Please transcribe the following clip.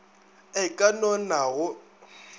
e ka no na go